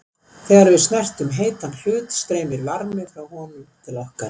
þegar við snertum heitan hlut streymir varmi frá honum til okkar